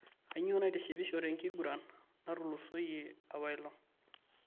Kainyoo naitishipisho te enkiguran natulusoyie apaelong'